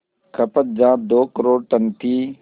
खपत जहां दो करोड़ टन थी